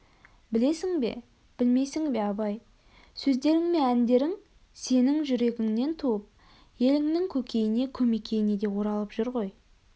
білесің бе білмейсің бе абай сөздерің мен әндерің сенің жүрегіңнен туып еліңнің көкейіне көмекейіне де оралып жүр ғой